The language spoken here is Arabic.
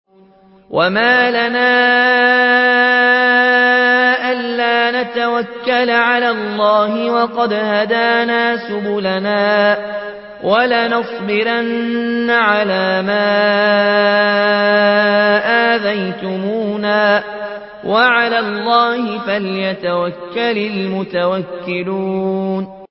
وَمَا لَنَا أَلَّا نَتَوَكَّلَ عَلَى اللَّهِ وَقَدْ هَدَانَا سُبُلَنَا ۚ وَلَنَصْبِرَنَّ عَلَىٰ مَا آذَيْتُمُونَا ۚ وَعَلَى اللَّهِ فَلْيَتَوَكَّلِ الْمُتَوَكِّلُونَ